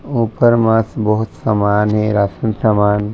उपर मा बहुत समान हे राशन सामान--